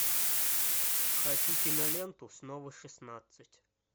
хочу киноленту снова шестнадцать